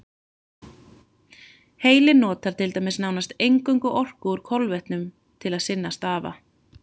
Heilinn notar til dæmis nánast eingöngu orku úr kolvetnum til sinna stafa.